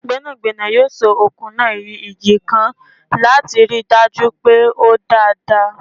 Gbẹ́nàgbẹ́nà yóò so okùn náà yí igi ká láti ríi dájú pé o dè dáadáa.